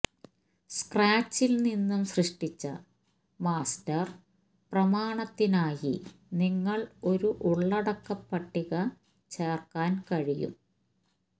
സ്ക്രാച്ചിൽ നിന്നും സൃഷ്ടിച്ച മാസ്റ്റർ പ്രമാണത്തിനായി നിങ്ങൾ ഒരു ഉള്ളടക്കപട്ടിക ചേർക്കാൻ കഴിയും